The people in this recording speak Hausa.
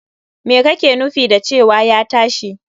Me kake nufin da cewa ya tashi!